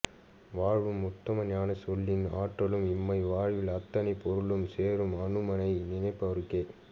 வாழ்வும் உத்தம ஞானச் சொல்லின் ஆற்றலும் இம்மை வாழ்வில் அத்தனை பொருளும் சேரும் அனுமனை நினைப்பவர்க்கே